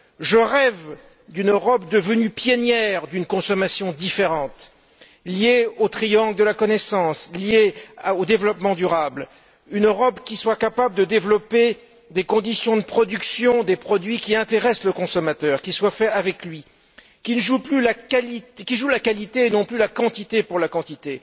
Je rêve d'une Europe devenue pionnière d'une consommation différente, liée au triangle de la connaissance, liée au développement durable, une Europe qui soit capable de développer des conditions de production, des produits qui intéressent le consommateur, qui soient faits avec lui, une Europe qui mise sur la qualité et non plus sur la quantité pour la quantité.